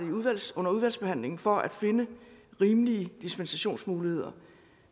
venstre under udvalgsbehandlingen arbejde for at finde rimelige dispensationsmuligheder